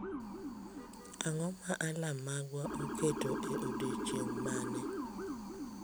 Ang’o ma alarm magwa oketo e odiechieng’ mane?